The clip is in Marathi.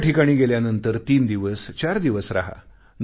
एका ठिकाणी गेल्यांनंतर तीन दिवस चार दिवस राहा